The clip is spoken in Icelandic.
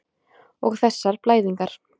Og þessar blæðingar.